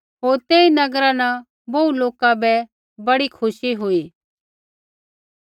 होर तेई नगरा न बोहू लोका बै बड़ी खुशी हुई